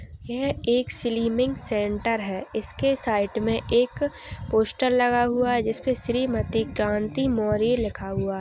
यह एक slimming centre है इसके साइट में एक पोस्टर लगा हुआ है जिस पे श्रीमती कांति मौर्य लिखा हुआ है।